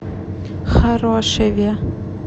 хорошеве